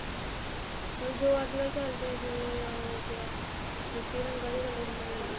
ਬੱਸ ਜੋ ਅੱਜਕਲ ਚਲਦੇ ਏ ਜਿਵੇਂ ਉਹ ਹੋ ਗਿਆ ਮਿੱਟੀ ਰੰਗਾ ਜਾ color ਹੁੰਦਾ ਜਿਹੜਾ